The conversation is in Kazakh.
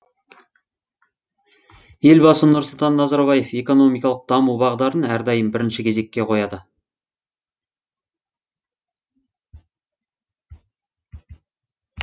елбасы нұрсұлтан назарбаев экономикалық даму бағдарын әрдайым бірінші кезекке қояды